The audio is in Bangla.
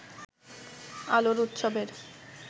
আলোর উৎসবের